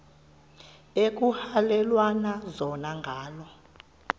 ekuhhalelwana zona ngala